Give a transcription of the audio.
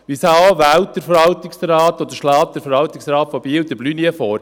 Weshalb wählt oder schlägt der Verwaltungsrat von Biel Blunier vor?